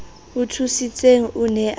o thusitseng o ne a